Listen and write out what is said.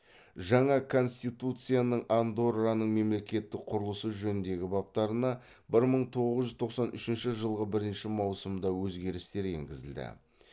жаңа конституцияның андорраның мемлекеттік құрылысы жөніндегі баптарына бір мың т оғыз жүз тоқсан үшінші жылғы бірінші маусымда өзгерістер енгізілді